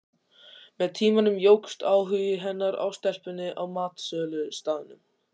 Með tímanum jókst áhugi hennar á stelpunni á matsölustaðnum.